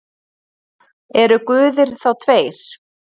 Eru guðir þá tveir?